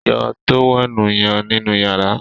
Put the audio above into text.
yọ tówẹ́ẹ̀nù yen nínú yàrá